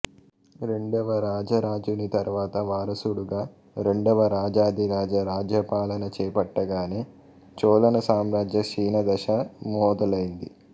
రెండవ రాజరాజుని తరువాత వారసుడుగా రెండవ రాజాధిరాజా రాజ్యాపలన చేపట్టగానే చోళసామ్రాజ్య క్షీణదశ మొదలైంది